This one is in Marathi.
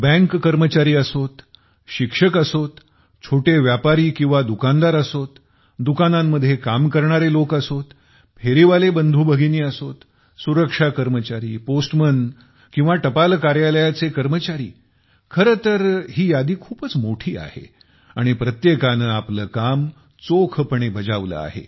बँकेचे कर्मचारी असोत शिक्षक असोत छोटे व्यापारी किंवा दुकानदार असोत दुकानांमध्ये काम करणारे लोक असोत फेरीवाले बंधूभगिनी असोत सुरक्षा कर्मचारी पोस्टमन किंवा टपाल कार्यालयाचे कर्मचारी खर तर ही यादी खूपच मोठी आहे आणि प्रत्येकाने आपले काम चोखपणे बजावले आहे